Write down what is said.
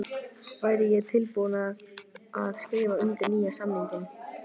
Væri ég tilbúinn til að skrifa undir nýjan samning?